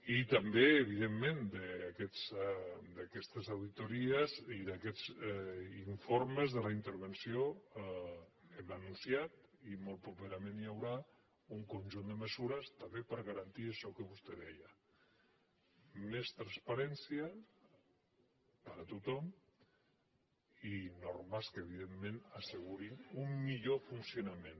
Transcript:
i també evidentment d’aquestes auditories i d’aquests informes de la intervenció hem anunciat i molt properament hi seran un conjunt de mesures també per garantir això que vostè deia més transparència per a tothom i normes que evidentment assegurin un millor funcionament